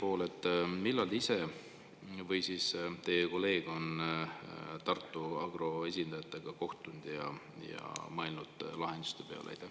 Ja teiseks, millal te ise olete või teie kolleeg on Tartu Agro esindajatega kohtunud ja mõelnud lahenduste peale?